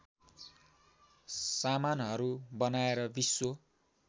सामानहरू बनाएर विश्व